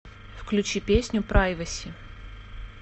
включи песню прайваси